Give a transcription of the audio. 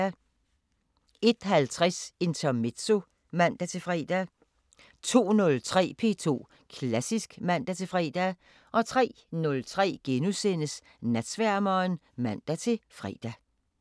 01:50: Intermezzo (man-fre) 02:03: P2 Klassisk (man-fre) 03:03: Natsværmeren *(man-fre)